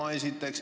Seda esiteks.